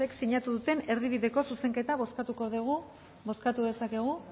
sinatu duten erdibideko zuzenketa bozkatuko dugu bozkatu dezakegu